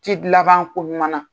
laban koɲuman